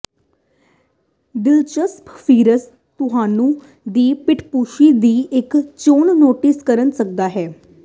ਦਿਲਚਸਪ ਫੀਚਰ ਤੁਹਾਨੂੰ ਦੀ ਪਿੱਠਭੂਮੀ ਦੀ ਇੱਕ ਚੋਣ ਨੋਟਿਸ ਕਰ ਸਕਦਾ ਹੈ